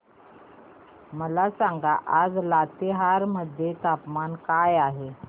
मला सांगा आज लातेहार मध्ये तापमान काय आहे